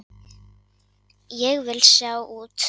Ég vil sjá út.